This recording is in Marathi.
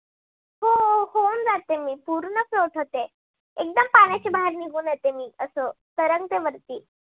जाते मी पूर्ण float होते एकदम पाण्याच्या बाहेर निघून येते, मी अस तरंगते वरती